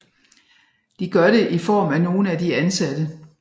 De gør det i form af nogle af de ansatte